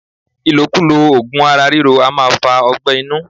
Ilokulo ogun ara riro a maa fa ọgbé̩ inu